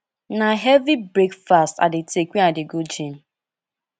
na heavy breakfast i dey take when i dey go gym